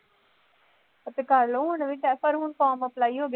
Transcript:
ਅਤੇ ਕਰ ਲਉ, ਹੁਣ ਵੀ test form apply ਹੋ ਗਏ।